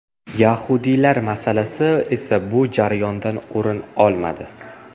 Yahudiylar masalasi esa bu jarayondan o‘rin olmadi.